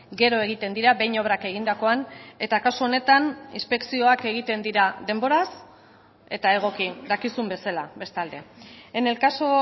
gero egiten dira behin obrak egindakoan eta kasu honetan inspekzioak egiten dira denboraz eta egoki dakizun bezala bestalde en el caso